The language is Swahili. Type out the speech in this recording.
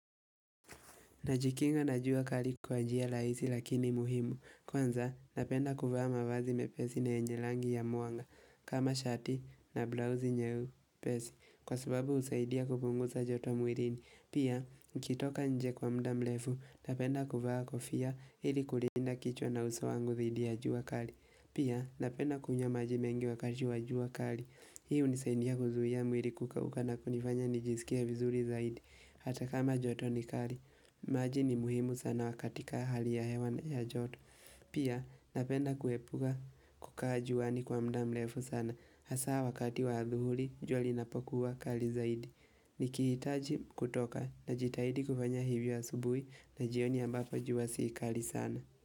Najikinga na jua kali kwa njia rahisi lakini muhimu, kwanza napenda kuvaa mavazi mepesi na yenye rangi ya mwanga, kama shati na blauzi nyepesi, kwa sababu husaidia kupunguza joto mwilini, pia nikitoka nje kwa muda mrefu, napenda kuvaa kofia ili kulinda kichwa na uso wangu dhidi ya jua kali, pia napenda kunywa maji mengi wakati wa jua kali. Hii hunisaidia kuzuia mwili kukauka na kunifanya nijisikie vizuri zaidi Hata kama joto ni kali maji ni muhimu sana katika hali ya hewa na joto Pia napenda kuhepa kukaa juani kwa muda mrefu sana Hasa wakati wa adhuhuli jua linapokuwa kali zaidi Nikihitaji kutoka na jitahidi kufanya hivyo asubuhi na jioni ambapo jua si kali sana.